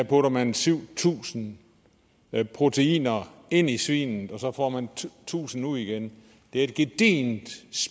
putter man syv tusind proteiner ind i svinet og så får man tusind ud igen det er et gedigent